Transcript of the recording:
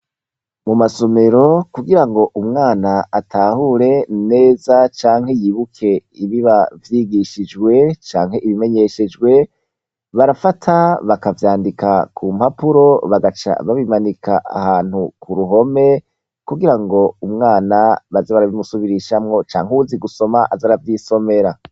Mu masomero kugira ngo umwana atahure neza canke yibuke ibiba vyigishijwe canke ibimenyeshejwe barafata bakavyandika ku mpapuro bagaca babimanika ahantu ku ruhome, kugira ngo umwana baze barabimusubirishamwo canke uwuzi gusoma aze aravyisomera.